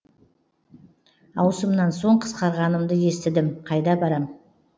ауысымнан соң қысқарғанымды естідім қайда барам